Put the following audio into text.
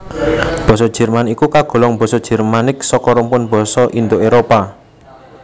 Basa Jerman iku kagolong basa Jermanik saka rumpun basa Indo Éropah